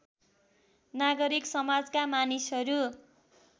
नागरिक समाजका मानिसहरू